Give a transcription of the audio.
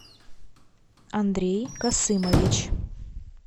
андрей касымович